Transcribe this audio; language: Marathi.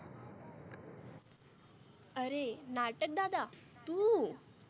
आरे नाटक दादा तु.